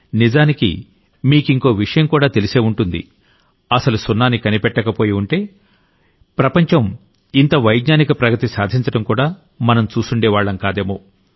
నిజానికి మీకింకో విషయం కూడా తెలిసే ఉంటుంది అసలు సున్నాని కనిపెట్టకపోయుంటే అసలు ప్రపంచం ఇంత వైజ్ఞానిక ప్రగతి సాధించడం కూడా మనం చూసుండే వాళ్లం కాదేమో